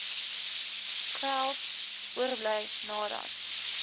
geld oorbly nadat